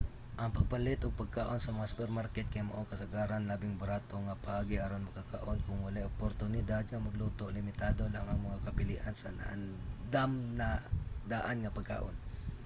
ang pagpalit og pagkaon sa mga supermarket kay mao ang kasagaran labing barato nga paagi aron makakaon. kon walay oportunidad nga magluto limitado lang ang mga kapilian sa naandam-na-daan nga pagkaon